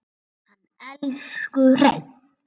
Hann elsku Hreinn.